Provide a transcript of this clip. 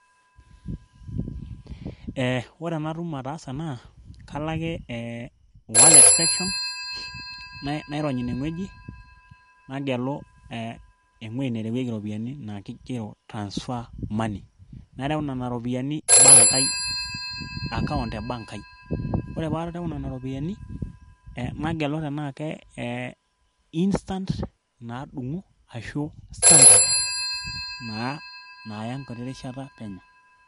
ee ore enatum ataasa ena, kalo ake wallet section .nairony ine ngueji, nagelu ewueji naigero transfer money, nareu iropiyiani bank ai, account ebank ai, ore pee areu nena ropiyiani nagelu tenaa instan t,tenaa standard .naa naya enkiti ishata peno.